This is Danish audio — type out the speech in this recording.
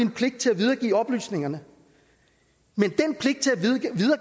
pligt til at videregive oplysningerne men